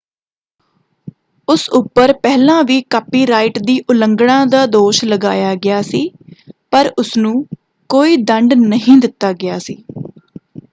ਉਸ ਉੱਪਰ ਪਹਿਲਾਂ ਵੀ ਕਾਪੀਰਾਈਟ ਦੀ ਉਲੰਘਣਾ ਦਾ ਦੋਸ਼ ਲਗਾਇਆ ਗਿਆ ਸੀ ਪਰ ਉਸਨੂੰ ਕੋਈ ਦੰਡ ਨਹੀਂ ਦਿੱਤਾ ਗਿਆ ਸੀ।